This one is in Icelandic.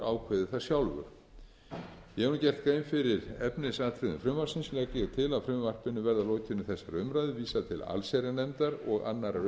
landsdómur ákveði það sjálfur ég hef nú gert grein fyrir efnisatriðum frumvarpsins legg ég til að frumvarpinu verði að lokinni þessari umræðu vísað til allsherjarnefndar og annarrar